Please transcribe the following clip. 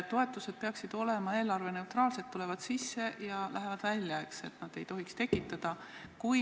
Toetused peaksid olema eelarveneutraalsed, need tulevad sisse ja lähevad välja, eks.